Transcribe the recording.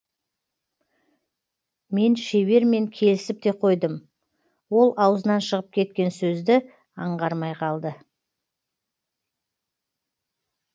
мен шебермен келісіп те қойдым ол аузынан шығып кеткен сөзді аңғармай қалды